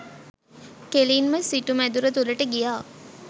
කෙළින්ම සිටු මැදුර තුළට ගියා.